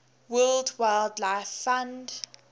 world wildlife fund